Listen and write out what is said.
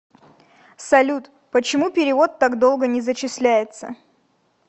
салют почему перевод так долго не зачисляется